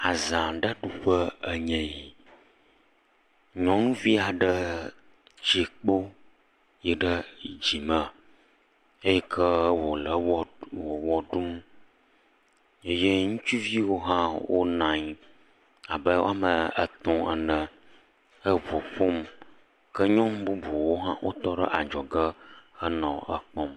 Aza aɖe ɖuƒe enye yi, nyɔnuvi aɖe ti kpo yi ɖe dzi me eyike wòle wo wɔ ɖum, eye ŋutsuviwo hã wonɔ anyi abe woame etɔ̃ ene, he ŋu ƒom, ke nyɔnu bubuwo hã wotɔ ɖe adzɔge henɔ ekpɔm.